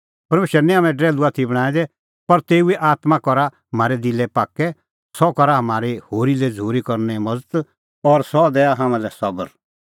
परमेशरै निं हाम्हैं डरैल्हू आथी बणांऐं दै पर तेऊए आत्मां करा म्हारै दिला पाक्कै सह करा म्हारी होरी लै झ़ूरी करने मज़त और सह दैआ हाम्हां लै सबर